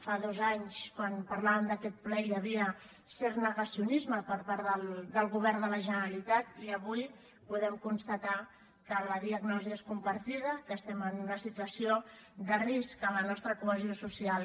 fa dos anys quan parlàvem d’aquest ple hi havia cert negacionisme per part del govern de la generalitat i avui podem constatar que la diagnosi és compartida que estem en una situació de risc en la nostra cohesió social